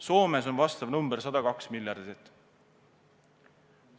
Soomes on vastav number 102 miljardit.